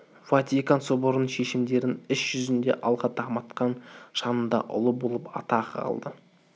ватикан соборының шешімдерін іш жүзінде алға дамытқан шынында ұлы болып атағы қалды